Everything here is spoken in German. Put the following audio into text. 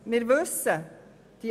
Wir wissen es: